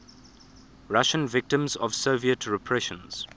russian victims of soviet repressions